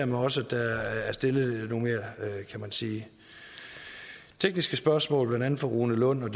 mig også at der er stillet nogle kan man sige tekniske spørgsmål blandt andet fra rune lund